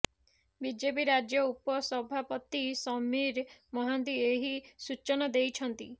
BJP ରାଜ୍ୟ ଉପସଭାପତି ସମୀର ମହାନ୍ତି ଏହି ସୂଚନା ଦେଇଛନ୍ତି